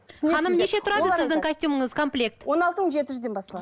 ханым неше тұрады сіздің костюміңіз комплект он алты мың жеті жүзден басталады